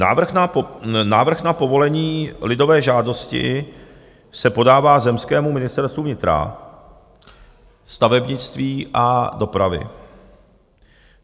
Návrh na povolení lidové žádosti se podává zemskému ministerstvu vnitra, stavebnictví a dopravy.